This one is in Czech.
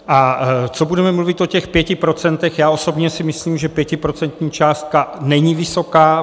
A co budeme mluvit o těch pěti procentech, já osobně si myslím, že pětiprocentní částka není vysoká.